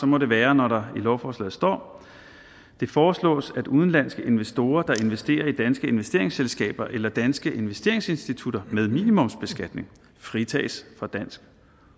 må det være når der i lovforslaget står det foreslås at udenlandske investorer der investerer i danske investeringsselskaber eller danske investeringsinstitutter med minimumsbeskatning fritages for dansk